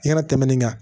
I kana tɛmɛ nin kan